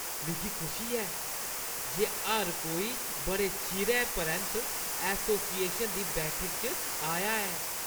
मिगी खुशी ऐ जे हर कोई बड़े चिरै परैंत्त एसोसिएशन दी बैठक च आया ऐ।